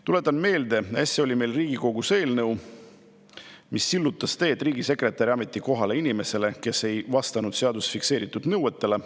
Tuletan meelde, et äsja oli meil Riigikogus eelnõu, mis sillutas teed riigisekretäri ametikohale inimesele, kes ei vastanud seaduses fikseeritud nõuetele.